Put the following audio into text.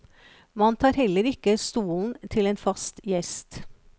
Man tar heller ikke stolen til en fast gjest.